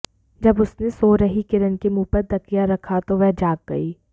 जब उसने सो रही किरण के मुंह पर तकिया रखा तो वह जाग गई